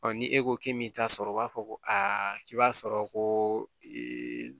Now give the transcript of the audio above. Ɔ ni e ko k'i m'i ta sɔrɔ o b'a fɔ ko aa k'i b'a sɔrɔ ko ee